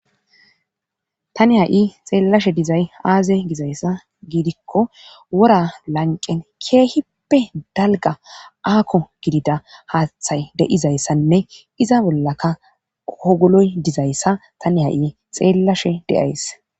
Tani ha7i xeellashe dizay aaze gizayssa giidikko wora lanqen keehippe dalga aako gidida haaththay de7izayssanne iza bollaka ogoloy dizayssa tani ha7i xeellashe deays